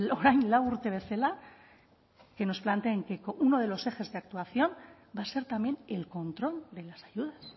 orain lau urte bezala que nos planteen que uno de los ejes de actuación va a ser también el control de las ayudas